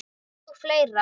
Og fleira.